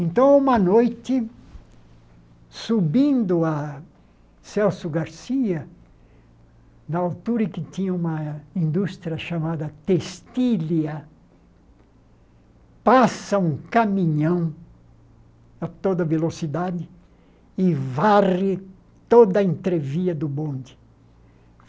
Então, uma noite, subindo a Celso Garcia, na altura em que tinha uma indústria chamada Testília, passa um caminhão a toda velocidade e varre toda a entrevia do bonde.